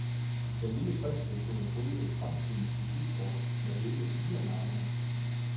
Den lille prins vil kunne pryde fremtidens visitkortet med hele fire navne.